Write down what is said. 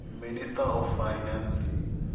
minister of finance